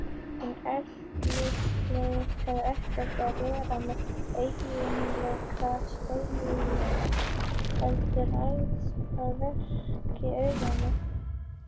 En litleysið hefur ekkert að gera með eiginleika spegilsins heldur ræðst af virkni augna okkar.